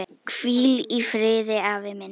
Hvíl í friði afi minn.